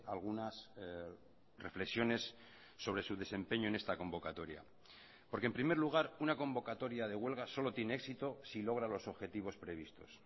algunas reflexiones sobre su desempeño en esta convocatoria porque en primer lugar una convocatoria de huelga solo tiene éxito si logra los objetivos previstos